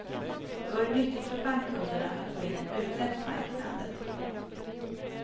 Det vore nyttigt för bankkunderna att få in en utländsk bank i landet.